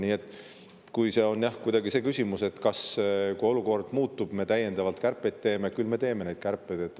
Kui see küsimus oli kuidagi selle kohta, et kui olukord muutub, kas me siis teeme täiendavaid kärpeid, siis vastan, et küll me neid kärpeid teeme.